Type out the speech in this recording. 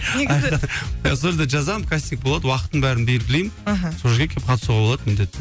негізі сол жерде жазамын кастинг болады уақытын бәрін белгілеймін мхм сол жерге келіп қатысуға болады